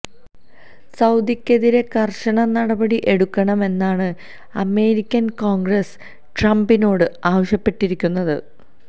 സൌദിയ്ക്കെതിരെ കര്ശന നടപടി എടുക്കണം എന്നാണ് അമേരിക്കന് കോണ്ഗ്രസ് ട്രംപിനോട് ആവശ്യപ്പെട്ടിരിക്കുന്നത്